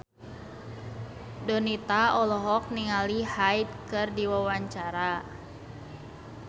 Donita olohok ningali Hyde keur diwawancara